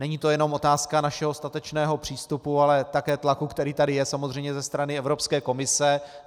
Není to jenom otázka našeho statečného přístupu, ale také tlaku, který tady je samozřejmě ze strany Evropské komise.